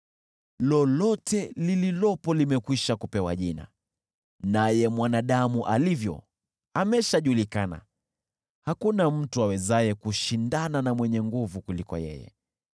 Lolote lililopo limekwisha kupewa jina, naye mwanadamu alivyo ameshajulikana; hakuna mtu awezaye kushindana na mwenye nguvu kuliko yeye.